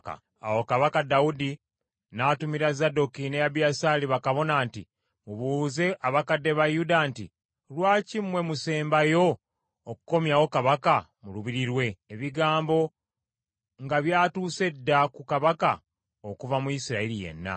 Awo kabaka Dawudi n’atumira Zadooki ne Abiyasaali bakabona nti, “Mubuuze abakadde ba Yuda nti, ‘Lwaki mmwe musembayo okukomyawo kabaka mu lubiri lwe, ebigambo nga byatuuse dda ku kabaka okuva mu Isirayiri yenna?